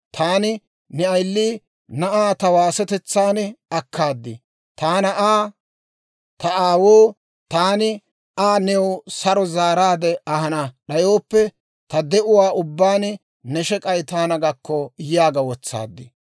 Taani ne ayili na'aa ta waasetetsaan akkaad; taani Aa, ‹Ta aawoo, taani Aa new saro zaaraadde ahana d'ayooppe, ta de'uwaa ubbaan ne shek'ay taana gakko!› yaaga wotsaad.